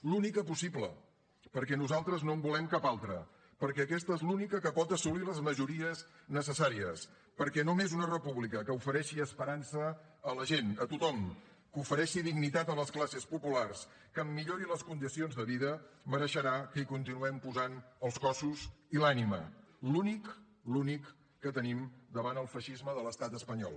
l’única possible perquè nosaltres no en volem cap altra perquè aquesta és l’única que pot assolir les majories necessàries perquè només una república que ofereixi esperança a la gent a tothom que ofereixi dignitat a les classes populars que en millori les condicions de vida mereixerà que hi continuem posant els cossos i l’ànima l’únic l’únic que tenim davant el feixisme de l’estat espanyol